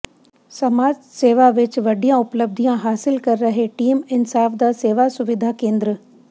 ਸਮਾਜ ਸੇਵਾ ਵਿੱਚ ਵੱਡੀਆਂ ਉਪਲੱਬਧੀਆਂ ਹਾਸਿਲ ਕਰ ਰਿਹੈ ਟੀਮ ਇਨਸਾਫ ਦਾ ਸੇਵਾ ਸੁਵਿਧਾ ਕੇਂਦਰ